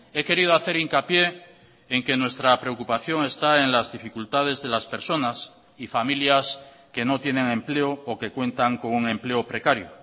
he querido hacer hincapié en que nuestra preocupación está en las dificultades de las personas y familias que no tienen empleo o que cuentan con un empleo precario